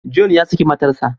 John ya saki matarsa.